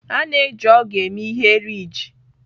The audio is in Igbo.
A na-eji ogu eme ihe riijị.